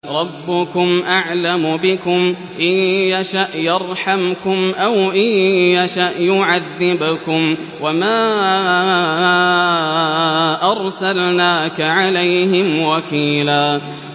رَّبُّكُمْ أَعْلَمُ بِكُمْ ۖ إِن يَشَأْ يَرْحَمْكُمْ أَوْ إِن يَشَأْ يُعَذِّبْكُمْ ۚ وَمَا أَرْسَلْنَاكَ عَلَيْهِمْ وَكِيلًا